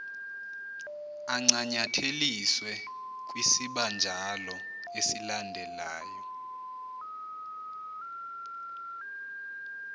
ancanyatheliswe kwisibanjalo esilandelyo